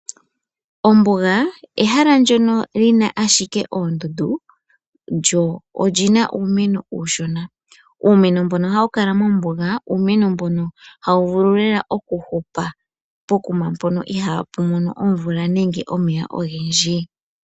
Ombuga ehala ndjono lina ashike oondundu lyo olyina uumeno uushona, uumeno mbono hawu kala mombuga uumeno mbono hawu vulu lela okuhupa pokuma mpoka iha pumono omvula nenge omeya ogendji.